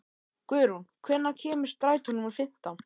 Guðrún, hvenær kemur strætó númer fimmtán?